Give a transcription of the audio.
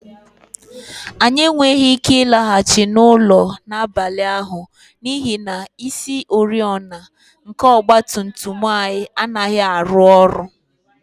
Anyị enweghị ike ịlaghachi n'ụlọ n'abalị ahụ n'ihi na isioriọna nke ọgba tum tum anyị anaghị arụ ọrụ